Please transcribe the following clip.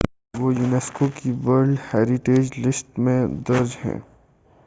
وہ یونیسکو کی world heritage list میں درج ہیں